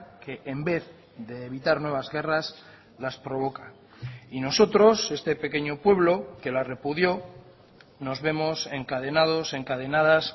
que en vez de evitar nuevas guerras las provoca y nosotros este pequeño pueblo que la repudió nos vemos encadenados encadenadas